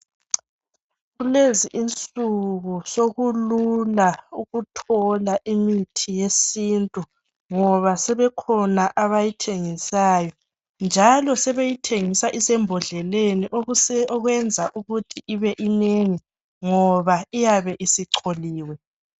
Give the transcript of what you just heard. Kulezi insuku sokulula ukuthola imithi yesintu ngoba sebekhona abayithengisayo njalo sebeyithengisa isembodleleni okwenza ukuthi ibe inengi ngoba iyabe isicholiwe.